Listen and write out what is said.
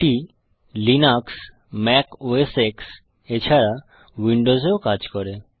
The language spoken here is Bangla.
এটি লিনাক্স ম্যাক ওএস X এছাড়া উইন্ডোজ এও কাজ করে